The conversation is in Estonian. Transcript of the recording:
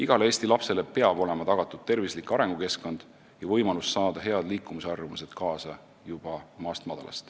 Igale Eesti lapsele peab olema tagatud tervislik arengukeskkond ja võimalus juba koolist head liikumisharjumused kaasa saada.